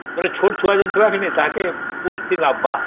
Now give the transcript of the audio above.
ବୋଲେ ଛୋଟ ଛୁଆ ଯୋଉ ଥୀବାକେ ନାଇଁ ତାଙ୍କେ କୋଉଠି ନବା